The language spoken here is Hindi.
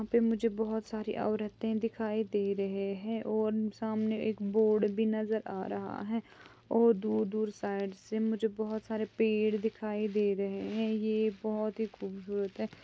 यहा पे मुझे बहुत सारे औरते दिखाई दे रहे है और सामने एक बोर्ड भी नजर आ रहा है और दूर दूर साइड से मुझे बहुत सारे पेड़ दिखाई दे रहे है। ये बहुत ही खूबसूरत है।